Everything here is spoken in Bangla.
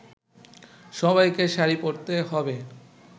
সবাইকে শাড়ি পরতে হবে